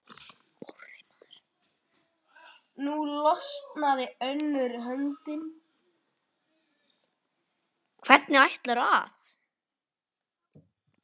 Hvernig ætlarðu að.?